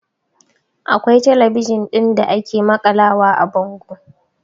Akwai talabijin ɗin da ake maƙalawa a bango